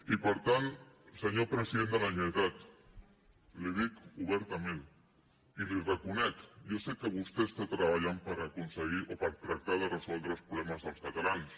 i per tant senyor president de la generalitat li ho dic obertament i li ho reconec jo sé que vostè està treballant per aconseguir o per tractar de resoldre els problemes dels catalans